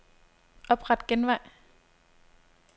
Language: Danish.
Opret genvej.